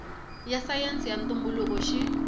ya sayense ya ntumbuluko xi